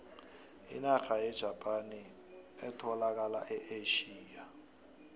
inarha yejapani etholakala e asia